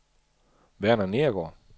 Verner Nedergaard